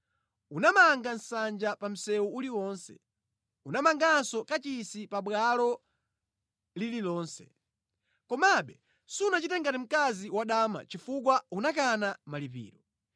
Unamanga nsanja pa msewu uliwonse. Unamanganso kachisi pabwalo lililonse. Komabe sunachite ngati mkazi wadama chifukwa unakana malipiro.